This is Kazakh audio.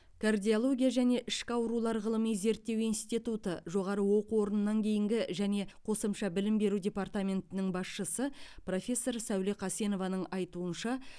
кардиология және ішкі аурулар ғылыми зерттеу институты жоғары оқу орнынан кейінгі және қосымша білім беру департаментінің басшысы профессор сәуле қасенованың айтуынша